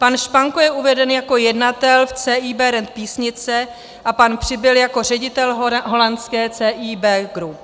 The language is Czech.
Pan Španko je uveden jako jednatel v CIB Rent Písnice a pan Přibyl jako ředitel holandské CIB Group.